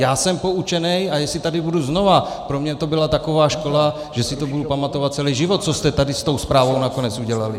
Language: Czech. Já jsem poučený, a jestli tady budu znovu, pro mě to byla taková škola, že si to budu pamatovat celý život, co jste tady s tou zprávou nakonec udělali!